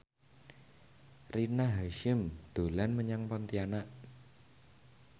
Rina Hasyim dolan menyang Pontianak